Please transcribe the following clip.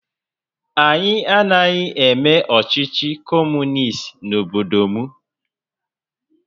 Anyị anaghị eme ọchịchị Kọmunist n'obodo m